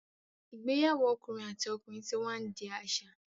igbeyawo okunrin àti ọkùnrin tí wá ndi aṣa.